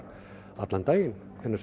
allan daginn